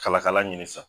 Kala kala ɲini san